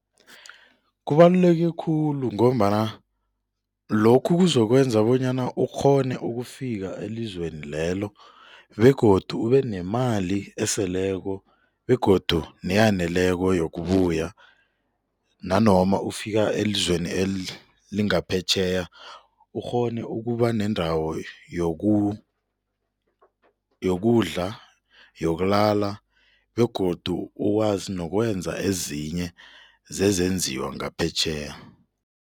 Kubaluleke khulu ngombana lokhu kuzokwenza bonyana ukghone ukufika elizweni lelo begodu ube nemali eseleko begodu neyaneleko yokubula nanoma ufika elizweni elingaphetjheya ukghone ukuba nendawo yokudla yokulala begodu ukwazi nokwenza ezinye zezenziwa ngaphetjheya.